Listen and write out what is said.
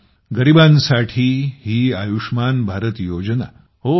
बघा गरीबांसाठीही आयुष्मान भारत योजना